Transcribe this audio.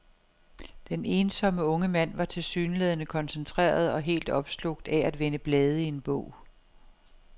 Den ensomme unge mand var tilsyneladende koncentreret og helt opslugt af at vende blade i en bog.